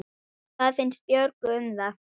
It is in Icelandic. Hvað finnst Björgu um það?